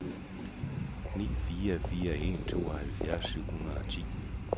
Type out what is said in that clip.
ni fire fire en tooghalvfjerds syv hundrede og ti